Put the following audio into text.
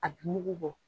A bɛ mugu bɔ